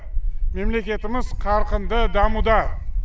мемлекетіміз қарқынды дамуда